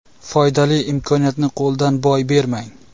Foydali imkoniyatni qo‘ldan boy bermang.